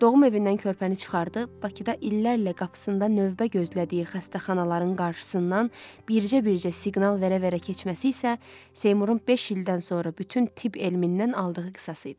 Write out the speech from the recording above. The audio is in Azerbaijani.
Doğum evindən körpəni çıxardı, Bakıda illərlə qapısında növbə gözlədiyi xəstəxanaların qarşısından bircə-bircə siqnal verə-verə keçməsi isə Seymurun beş ildən sonra bütün tibb elmindən aldığı qisası idi.